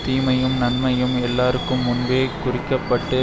தீமையும் நன்மையும் எல்லார்க்கும் முன்பே குறிக்கப்பட்டு